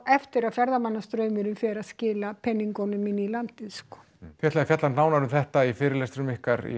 eftir að ferðamannastraumurinn fer að skila peningum inn í landið þið ætlið að fjalla nánar um þetta á fyrirlestrum ykkar í